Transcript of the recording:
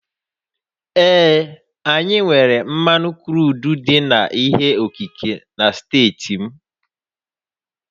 Ee, anyị nwèrè mmanụ kruudu dị ka ihe okike na steeti m